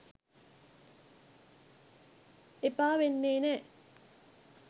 එපා වෙන්නෙ නෑ.